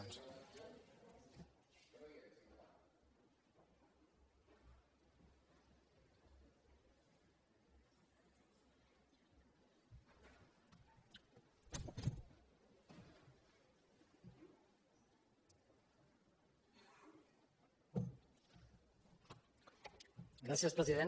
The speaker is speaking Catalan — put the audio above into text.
gràcies president